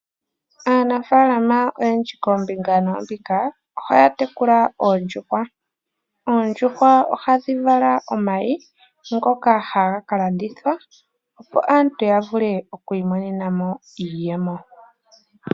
Aanafalama oyendji koombinga noombinga ohaya tekula oondjuhwa. Oondjuhwa ohadhi vala omayi ngoka haga ka landithwa opo aantu ya vule okwiimonena iiyemo.